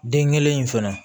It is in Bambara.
Den kelen in fɛnɛ